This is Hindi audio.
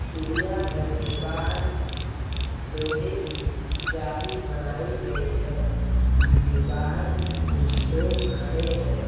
चिड़िया-घर के बाहर लोहे की जाली बनाई गयी है जिसके बाहर कुछ लोग खड़े हैं। ।